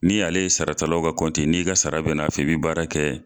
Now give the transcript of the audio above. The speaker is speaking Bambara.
Ni ale ye sarata law ka kɔnti ye n'i ka sara bɛ n'a fɛ i bi baara kɛ